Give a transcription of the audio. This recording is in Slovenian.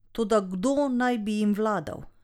Toda kdo naj bi jim vladal?